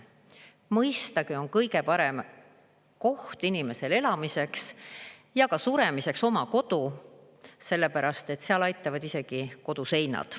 Mõistagi on kõige parem koht inimesele elamiseks ja suremiseks oma kodu, sellepärast et seal aitavad isegi koduseinad.